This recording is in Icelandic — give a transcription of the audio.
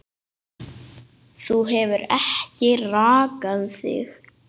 Þú hefur ekki rakað þig.